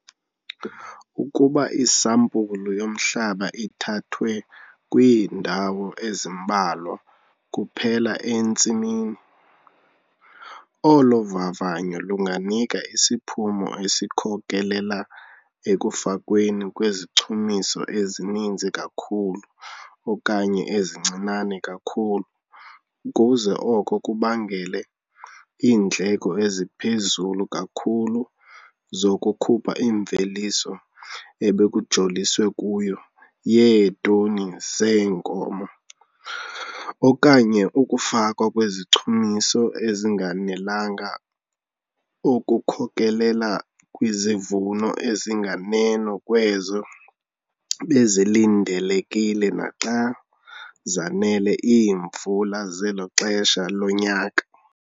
Ukuba isampulu yomhlaba ithathwe kwiindawo ezimbalwa kuphela entsimini, olo vavanyo lunganika isiphumo esikhokelela ekufakweni kwezichumiso ezininzi kakhulu okanye ezincinane kakhulu ukuze oko kubangele iindleko eziphezulu kakhulu zokukhupha imveliso ebekujoliswe kuyo yeetoni zeenkozo okanye ukufakwa kwezichumiso ezinganelanga okukhokelela kwizivuno ezinganeno kwezo bezilindelekile naxa zanele iimvula zelo xesha lonyaka.